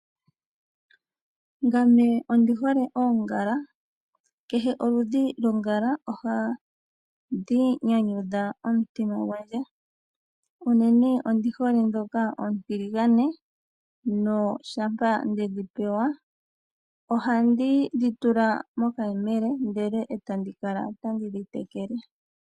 Ngame ondi hole oongala. Kehe oludhi lwongala ohalu nyanyudha omutima gwandje. Unene ondi hole ndhoka oontiligane. Shampa ndedhi pewa ohandi dhi tula mokayemele, ndele e tandi kala tandi dhi tekele.